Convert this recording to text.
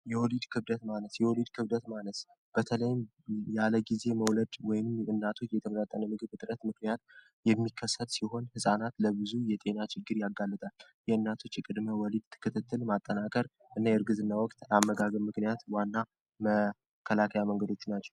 የወሊድ ክብደት ማነስ የወሊድ ክብደት ማነስ በተለይም ያለ ጊዜ መውለድ እና እናቶች የተመናጠነ ምግብ እጥረት ምክንያት የሚከሰት ሲሆን ሕፃናት ለብዙ የጤና ችግር ያጋልጣል። የእናቶች ቅድመ ወሊድ ክትትል ማጠናከር እና የርግዝና ወቅት አመጋገብ ምክንያት ዋና መከላከያ መንገዶቹ ናቸው።